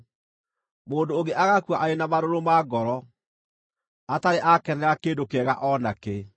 Mũndũ ũngĩ agakua arĩ na marũrũ ma ngoro, atarĩ aakenera kĩndũ kĩega o na kĩ.